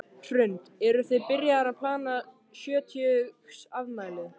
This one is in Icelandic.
Hrund: Eruð þið byrjaðar að plana sjötugsafmælið?